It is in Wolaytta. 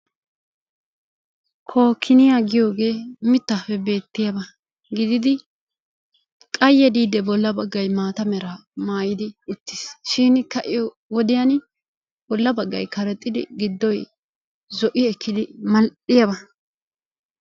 Kookiniyaa giyooge mittappe beettiyaaba gididi qayye diidi bolla baggay maata mera maayyidi uttiis shin kaa'iyo wodiyaan bolla baggay karexxidi giddoy zo''i ekkidi mal''iyaaba.